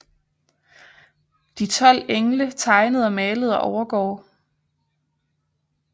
De 12 engle tegnet og malet af Overgaard